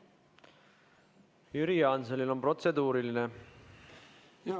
Jüri Jaansonil on protseduuriline küsimus.